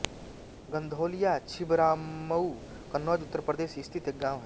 गँधौलिया छिबरामऊ कन्नौज उत्तर प्रदेश स्थित एक गाँव है